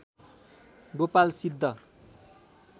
Gopal Siddh